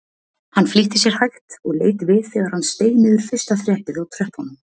Hann flýtti sér hægt og leit við þegar hann steig niður fyrsta þrepið á tröppunum.